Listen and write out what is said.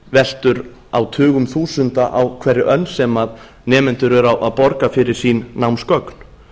veltur á tugum þúsunda á hverri önn sem nemendur verða að borga fyrir sín námsgögn